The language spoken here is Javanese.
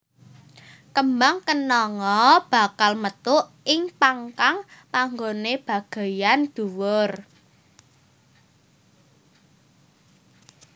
Kembang kenanga bakal metu ing pang kang panggoné bagéyan dhuwur